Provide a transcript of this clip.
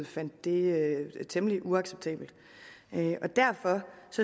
fandt det temmelig uacceptabelt derfor